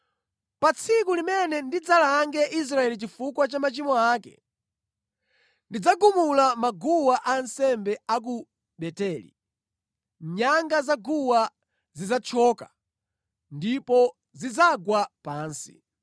“Pa tsiku limene ndidzalange Israeli chifukwa cha machimo ake, ndidzagumula maguwa ansembe a ku Beteli; nyanga za guwa zidzathyoka ndipo zidzagwa pansi.